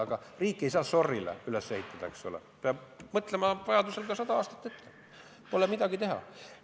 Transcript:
Aga riiki ei saa sorry'le üles ehitada, peab vajadusel mõtlema ka sada aastat ette – pole midagi teha.